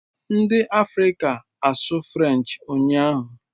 Ndị Afrịka asụ French ụnyahụ?